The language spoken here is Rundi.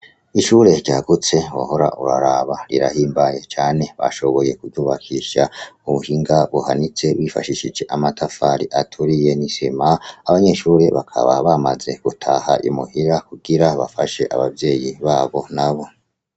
Ishure ryagutse wohora uraraba, rirahimbaye cane. Bashoboye kuryubakisha mu buhinga buhanitse bifashishije amatafari aturiye n'isima. Abanyeshure bakaba bamaze gutaha i muhira kugira bafashe abavyeyi babo nabo.